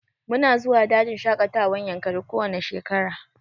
Mu na zuwa dajin shaƙatawan yankari ko wanne shekara